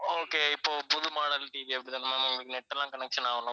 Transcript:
okay இப்போ புது model TV அப்படி தான ma'am உங்களுக்கு net எல்லாம் connection ஆகணும்